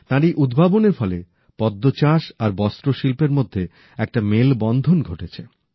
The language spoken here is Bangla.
তাঁর এই উদ্ভাবনের ফলে পদ্ম চাষ আর বস্ত্রশিল্পের মধ্যে একটা মেলবন্ধন ঘটেছে